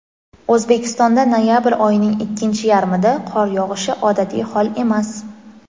O‘zbekistonda noyabr oyining ikkinchi yarmida qor yog‘ishi odatiy hol emas.